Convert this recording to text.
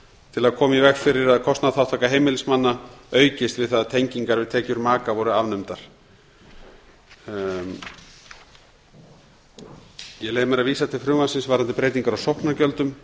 til að koma í veg fyrir að kostnaðarþátttaka heimilismanna aukist við það að tengingar við tekjur maka voru afnumdar ég leyfi mér að vísa til frumvarpsins varðandi breytingar á sóknargjöldum